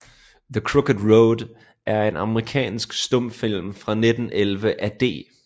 The Crooked Road er en amerikansk stumfilm fra 1911 af D